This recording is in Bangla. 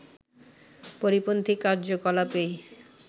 পরিপন্থী কার্যকলাপই